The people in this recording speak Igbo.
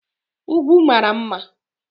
Ugwu mara mma